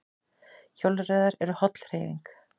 Hjólreiðar eru holl hreyfing